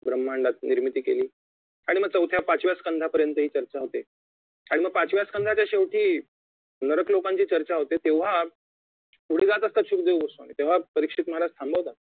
ब्रम्हांडाची निर्मिती केली आणि चौथ्या पाचव्या संघापर्यंत चर्चा होते आणि मग पाचव्या संघाच्या शेवटी नरक लोकांची चर्चा होते तेव्हा पुढे जात असतात सुखदेव गोस्वामी तेव्हा परीक्षेत महाराज थांबवतात